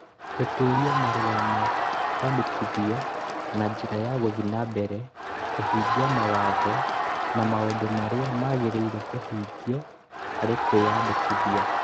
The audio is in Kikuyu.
Gũtũũria marũa ma kwandĩkithio na njĩra ya gũthiĩ na mbere kũhingia mawatho na maũndũ marĩa magĩrĩire kũhingio harĩ kwĩyandĩkithia.